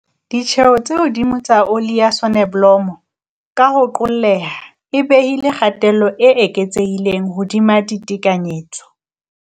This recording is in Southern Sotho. Ditjeo tse hodimo tsa oli ya sonobolomo, ka ho qolleha, e behile kgatello e eketsehileng hodima ditekanyetso.